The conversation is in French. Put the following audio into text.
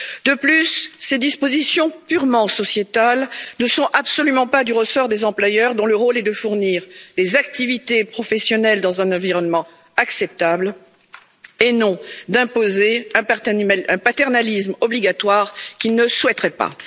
De plus, ces dispositions purement sociétales ne sont absolument pas du ressort des employeurs, dont le rôle est de fournir des activités professionnelles dans un environnement acceptable et non d'imposer un paternalisme obligatoire qu'ils ne souhaiteraient pas.